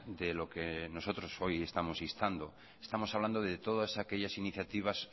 de lo que nosotros hoy estamos instando estamos hablando de todas aquellas iniciativas